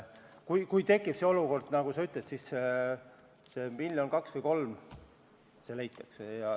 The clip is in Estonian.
Ja kui tekib see olukord, millele sa viitasid, siis see miljon, kaks või kolm leitakse.